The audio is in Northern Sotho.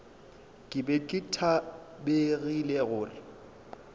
ke be ke tlabegile gore